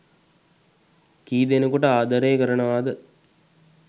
කී ‌දෙ‌නෙකුට ආද‌රේ කරනවද